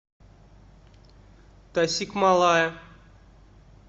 тасикмалая